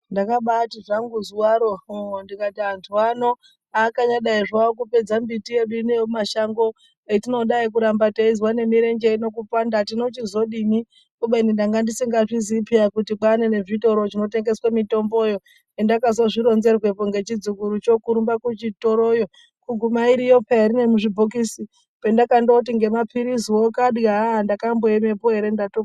Ndakabati zvangu zuwaro hoo ndikati antu ano akanyadai zvawo kupedza mbiti yedu ino yemumashango isu etinodayi kuramba teizwe nemirenje yedu kupanda tinochizodini kubeni ndanga ndisingazviziyi peya kuti kwaane nezvitoro zvinoyengeswe mitomboyo endakazozvironzerwepo nechi dzukurucho kurumba kuchitoroyo kuguma iriyo peya iri nemuzvi bhokisi pandakandoti nema piriziwo kadya ndakamboemepo ere.